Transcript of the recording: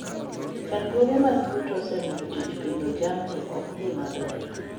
Chandruoge mag yuto osemiyo tij pidho jamni ok dhi maber.